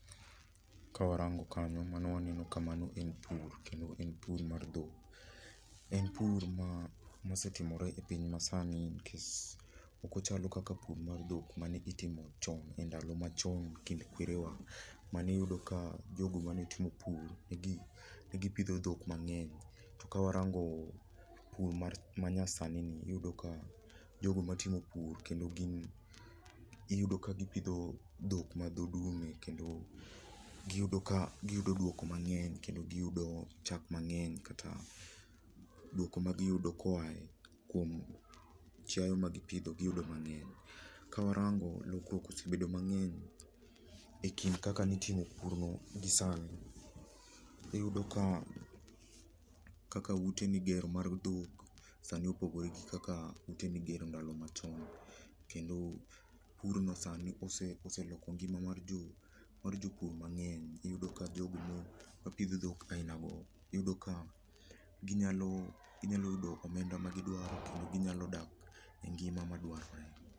Ka warango kanyo mano waneno kamano en pur. Kendo en pur mar dhok. En pur maa osetimore epiny masani nikech ok ochalo kaka pur mar dhok mane itimo chon e ndalo machon kind kwerewa mane iyudo ka jogo mane timo pur ne gi pidho dhok mang'ey. To kawarango pur manyasani iyudo ka jogo ma timo kendo gin iyudo ka gi pidho dhok ma dhoo dume kendo gi yudo ka giyudo duoko mang'eny kendo gi yudo chak mang'ey kata duoko ma giyudo koa kuom chiaye ma gi pidho giyudo mang'eny. Ka warango lokruok osebedo mang'eny ekind kaka nitimo purno gi sani, iyudo ka kaka ute migero mar dhok sani opogore gik kaka ute migero ndalo machon kendo purno sani oseloko ngima mar jopur mang'eny iyudo ka jogo mo mapidhoo dhok ainago iyudo ka ginyalo ginyalo yudo omenda magi dwaro kendo gi nyalo dak engima madwarore.